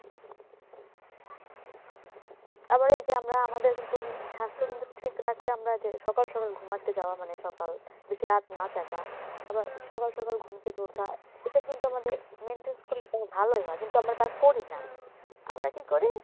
আবার এই যে আমরা আমাদের কিন্তু স্বাস্থ্য কিন্তু ঠিক রাখতে আমরা যে সকাল সকাল ঘুমাতে যাওয়া মানে সকাল বেশি রাত না জাগা আবার সকাল সকাল ঘুম থেকে ওঠা এসব কিন্তু আমাদের maintenance করলে ভালই হয় কিন্তু আমরা তা করি না, আমরা কি করি